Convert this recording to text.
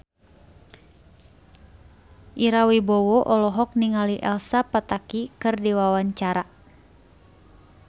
Ira Wibowo olohok ningali Elsa Pataky keur diwawancara